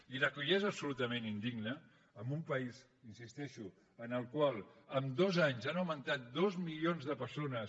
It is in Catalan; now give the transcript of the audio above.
i el que ja és absolutament indigne en un país hi insisteixo en el qual amb dos anys han augmentat dos milions les persones